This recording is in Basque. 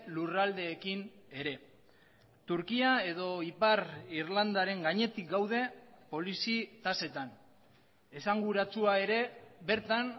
lurraldeekin ere turkia edo ipar irlandaren gainetik gaude polizi tasetan esanguratsua ere bertan